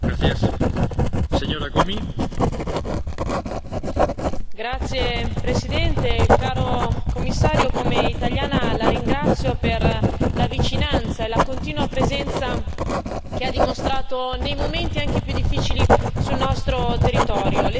Signor Presidente, onorevoli colleghi, caro Commissario, come italiana la ringrazio per la vicinanza e la continua presenza che ha dimostrato nei momenti anche più difficili sul nostro territorio.